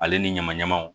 Ale ni ɲama ɲamaw